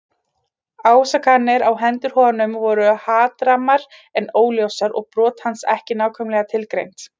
Ásakanirnar á hendur honum voru hatrammar en óljósar og brot hans ekki nákvæmlega tilgreind.